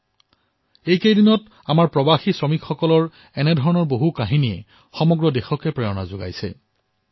আপোনালোকে দেখিবলৈ পাইছে যে এইকেইটা দিনত আমাৰ প্ৰবাসী শ্ৰমিকসকলৰ এনে কিমান কাহিনী আছে যিয়ে সমগ্ৰ দেশকে প্ৰেৰণা প্ৰদান কৰিছে